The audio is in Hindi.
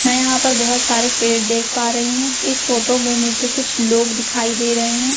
मैं यहां पर बहोत सारे पेड़ देख पा रही हूं इस फोटो में मुझे कुछ लोग दिखाई दे रहे हैं।